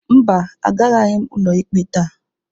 Mba, agaraghị m ụlọikpe taa.